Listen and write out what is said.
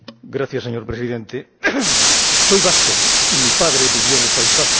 Señor Presidente, soy vasco y mi padre vivió en el País Vasco.